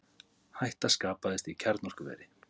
Hætta skapaðist í kjarnorkuveri